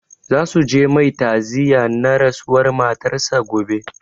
Za su je mai ta'aziya na rasuwar matar sa gobe